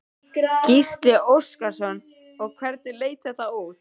Gísli Óskarsson: Og hvernig leit þetta út?